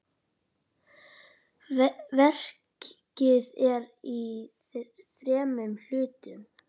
Verkið er í þremur hlutum.